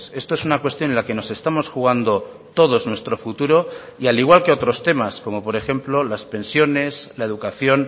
esto es una cuestión en la que nos estamos jugando todos nuestro futuro y al igual que otros temas como por ejemplo las pensiones la educación